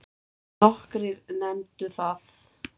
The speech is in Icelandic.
Nokkrir nefndu það.